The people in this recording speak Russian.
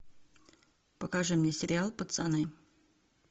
покажи мне сериал пацаны